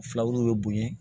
Filaw bɛ bonya